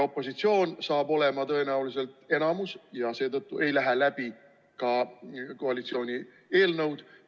Opositsioon hakkab tõenäoliselt olema enamuses ja seetõttu ei lähe läbi ka koalitsiooni eelnõud.